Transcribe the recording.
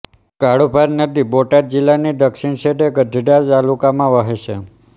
કાળુભાર નદી બોટાદ જિલ્લાની દક્ષિણ છેડે ગઢડા તાલુકામાં વહે છે